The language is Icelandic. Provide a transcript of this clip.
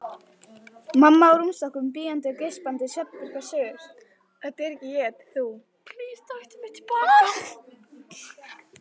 Gissur: Nú ert þú á góðum batavegi ekki satt?